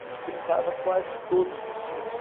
A gente brincava quase que todos os dias.